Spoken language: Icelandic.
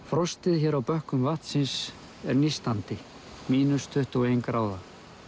frostið hér á bökkum vatnsins er nístandi mínus tuttugu og ein gráða